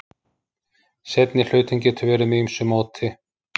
Seinni hlutinn getur verið með ýmsu móti.